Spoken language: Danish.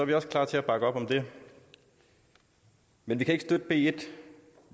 vi også klar til at bakke op om det men vi kan ikke